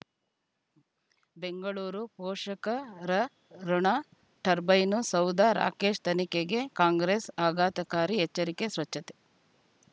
ಬೆಂಗಳೂರು ಪೋಷಕ ರ ಋಣ ಟರ್ಬೈನು ಸೌಧ ರಾಕೇಶ್ ತನಿಖೆಗೆ ಕಾಂಗ್ರೆಸ್ ಆಘಾತಕಾರಿ ಎಚ್ಚರಿಕೆ ಸ್ವಚ್ಛತೆ